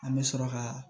An bɛ sɔrɔ ka